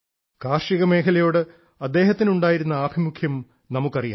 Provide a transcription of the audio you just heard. കാർഷിക മേഖലയോട് അദ്ദേഹത്തിനുണ്ടായിരുന്ന ആഭിമുഖ്യം നമുക്കറിയാം